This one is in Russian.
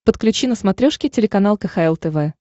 подключи на смотрешке телеканал кхл тв